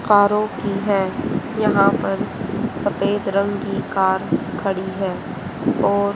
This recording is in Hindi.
कारों की है यहां पर सफेद रंग की कार खड़ी है और--